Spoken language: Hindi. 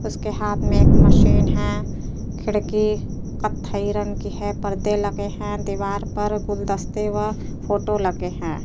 उसके हाथ मे एक मशीन है। खिड़की कत्थई रंग की है परदे लगे हैं। दीवार पर गुलदस्ते व फोटो लगे हैं।